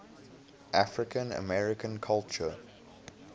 african american culture